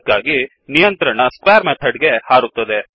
ಅದಕ್ಕ್ಕಾಗಿ ನಿಯಂತ್ರಣ square method ಗೆ ಹಾರುತ್ತದೆ